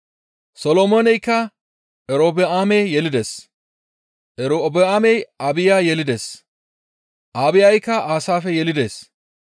Solomooney Erobi7aame yelides; Erobi7aamey Abbiya yelides; Abbiyayka Aasaafe yelides;